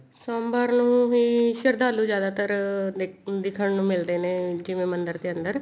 ਸੋਮਵਾਰ ਨੂੰ ਸ਼ਰਧਾਲੂ ਜਿਆਦਾਤਰ ਦਿਖਣ ਨੂੰ ਮਿਲਦੇ ਨੇ ਜਿਵੇਂ ਮੰਦਿਰ ਦੇ ਅੰਦਰ